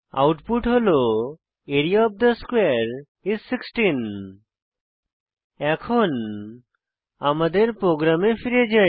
output হল area of the স্কোয়ারে is 16 এখন আমাদের প্রোগ্রামে ফিরে যাই